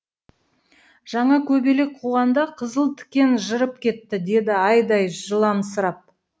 жаңа көбелек қуғанда қызыл тікен жырып кетті деді айдай жыламсырап